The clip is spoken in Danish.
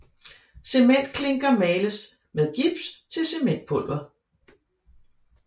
Cementklinker males med gips til cementpulver